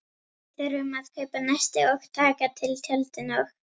Við þurfum að kaupa nesti og taka til tjöldin og.